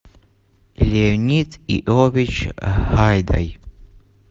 леонид иович гайдай